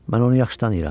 Mən onu yaxşı tanıyıram.